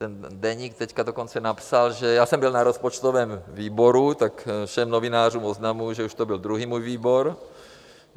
Ten deník teď dokonce napsal, že já jsem byl na rozpočtovém výboru, tak všem novinářům oznamuju, že už to byl druhý můj výbor.